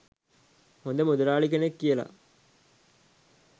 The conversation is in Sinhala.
හොද මුදලාලි කෙනෙක් කියල.